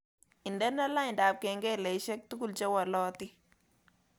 Indene lainda kengeleshek tugul chewolotin